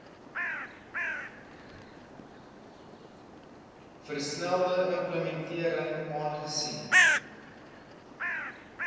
versnelde implementering aangesien